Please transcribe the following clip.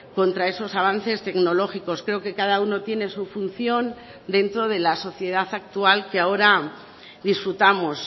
contra esos avances tecnológicos creo que cada uno tiene su función dentro de la sociedad actual que ahora disfrutamos